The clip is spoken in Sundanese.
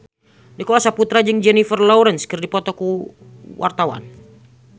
Nicholas Saputra jeung Jennifer Lawrence keur dipoto ku wartawan